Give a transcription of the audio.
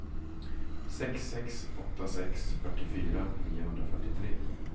sex sex åtta sex fyrtiofyra niohundrafyrtiotre